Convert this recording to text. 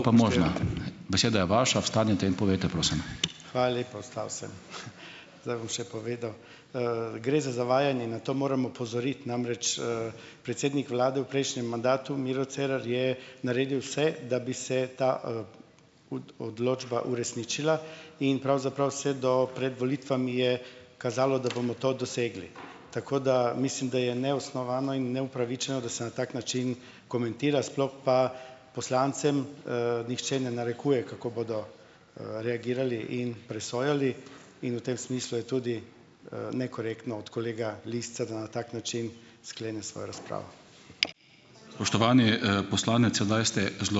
Hvala lepa. Vstal sem, zdaj bom še povedal. Gre za zavajanje. Na to moram opozoriti. Namreč, predsednik vlade v prejšnjem mandatu, Miro Cerar, je naredil vse, da bi se ta, odločba uresničila in pravzaprav vse do pred volitvami je kazalo, da bomo to dosegli. Tako da mislim, da je neosnovano in neupravičeno, da se na tak način komentira, sploh pa poslancem, nihče ne narekuje, kako bodo, reagirali in presojali in v tem smislu je tudi, nekorektno od kolega Lisca, da na tak način sklene svojo razpravo.